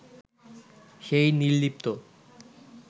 সেই নির্লিপ্ত